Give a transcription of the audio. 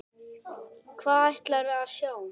Hvað ætlarðu að sjá?